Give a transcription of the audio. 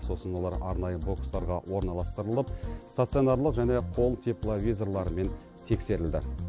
сосын олар арнайы бокстарға орналастырылып стационарлық және қол тепловизорларымен тексерілді